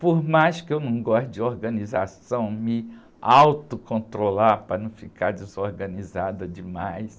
Por mais que eu não goste de organização, me autocontrolar para não ficar desorganizada demais.